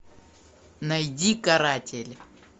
найди каратель